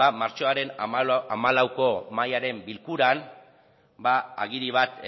martxoaren hamalauko mahaiaren bilkuran agiri bat